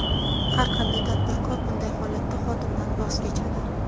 har qanday tadbirkor bunday holatda xodimdan voz kechadi.